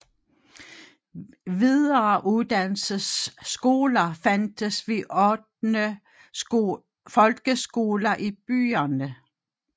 Videreuddannelsesskoler fandtes ved 8 folkeskoler i byerne